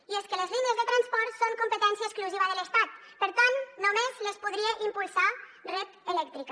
i és que les línies de transport són competència exclusiva de l’estat per tant només les podria impulsar red eléctrica